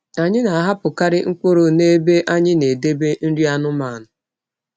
Anyị na-ahapụkarị mkpụrụ nebe anyị na-edebe nri anụmanụ.